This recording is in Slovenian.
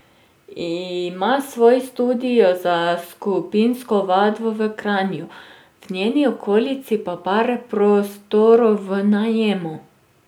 Ima svoj studio za skupinsko vadbo v Kranju, v njeni okolici pa par prostorov v najemu.